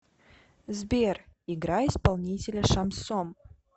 сбер играй исполнителя шамсон